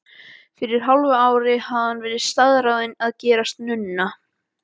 Fyrir hálfu ári hafði hún verið staðráðin að gerast nunna.